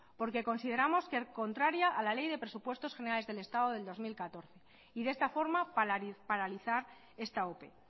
porque consideramos que es contraria a la ley de presupuestos de generales del estado del dos mil catorce y de esta forma paralizar esta ope